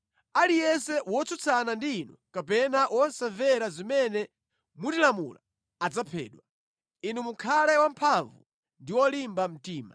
Aliyense wotsutsana ndi inu kapena wosamvera zimene mutilamula adzaphedwa. Inu mukhale wamphamvu ndi wolimba mtima!”